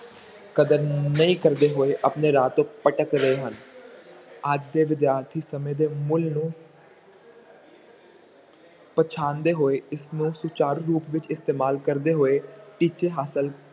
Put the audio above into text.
ਕਦਰ ਨਹੀਂ ਕਰਦੇ ਹੋਏ ਆਪਣੇ ਰਾਹ ਤੇ ਭਟਕ ਰਹੇ ਹਨ ਅੱਜ ਦੇ ਵਿਦਿਆਰਥੀ ਸਮੇਂ ਦੇ ਮੁੱਲ ਨੂੰ ਪਛਾਣਦੇ ਹੋਏ ਇਸਨੂੰ ਸੁਚਾਰੂ ਰੂਪ ਵਿੱਚ ਇਸਤੇਮਾਲ ਕਰਦੇ ਹੋਏ ਟੀਚੇ ਹਾਸਿਲ